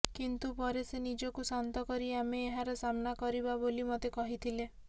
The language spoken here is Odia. କିନ୍ତୁ ପରେ ସେ ନିଜକୁ ଶାନ୍ତ କରି ଆମେ ଏହାର ସାମ୍ନା କରିବା ବୋଲି ମୋତେ କହିଥିଲେ